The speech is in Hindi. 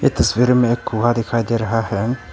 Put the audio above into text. ये तस्वीर में एक कुआं दिखाई दे रहा है।